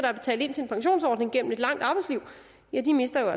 har betalt ind til en pensionsordning igennem et langt arbejdsliv mister